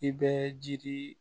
I bɛ jiri